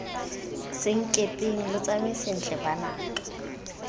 senkepeng lo tsamae sentle banaka